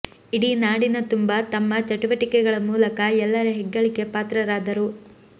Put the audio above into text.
ಇಡೀ ನಾಡಿನ ತುಂಬ ತಮ್ಮ ಚಟುವಟಿಕೆಗಳ ಮೂಲಕ ಎಲ್ಲರ ಹೆಗ್ಗಳಿಕೆ ಪಾತ್ರರಾದರು